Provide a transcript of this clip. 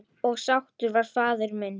Og sáttur var faðir minn.